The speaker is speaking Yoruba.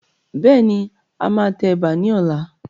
Bẹ́ẹ̀ni, a máa tẹ Ẹ̀bà ni ọ̀la.